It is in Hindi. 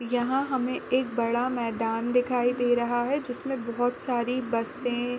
यहाँ हमे एक बड़ा मैदान दिखाई दे रहा है जिसमे बहोत सारी बसे --